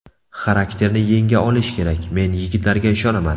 Xarakterni yenga olish kerak, men yigitlarga ishonaman.